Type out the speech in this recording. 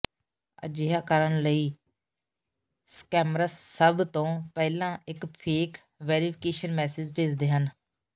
ਅਜਿਹਾ ਕਰਨ ਲਈ ਸਕੈਮਰਸ ਸਭ ਤੋਂ ਪਹਿਲਾਂ ਇੱਕ ਫੇਕ ਵੈਰੀਫਿਕੇਸ਼ਨ ਮੈਸੇਜ ਭੇਜਦੇ ਹਨ